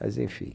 Mas, enfim.